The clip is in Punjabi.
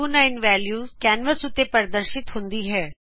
2029 ਵੈਲਿਯੁਸ ਕੈਨਵਸ ਉਤੇ ਪਰਦਰਸ਼ਿਤ ਹੁੰਦੀ ਹੈ